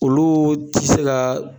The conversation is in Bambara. Olu ti se ga